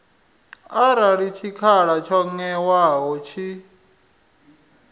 arali tshikhala tsho ṅewaho tshi